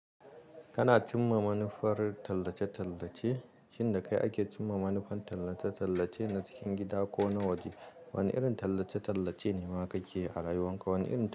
Kana cimma manufar tallace-tallace? Shin da kai ake cimma manufan tallace-tallace na cikin gida ko na waje? Wane irin tallace-tallace ne ma ka keyi a rayuwan ka? Wane irin tallace-